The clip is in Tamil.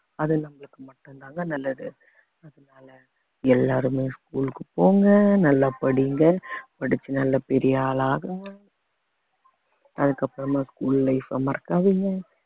அது நம்மளுக்கு மட்டும் தாங்க நல்லது அதனால எல்லாருமே school க்கு போங்க நல்லா படிங்க படிச்சு நல்லா பெரிய ஆளாகுங்க அதுக்கப்புறமா school life அ மறக்காதீங்க